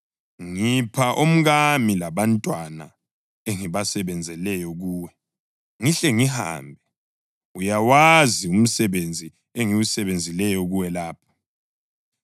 Ngipha omkami labantwana engibasebenzeleyo kuwe, ngihle ngihambe. Uyawazi umsebenzi engiwusebenzileyo kuwe lapha.”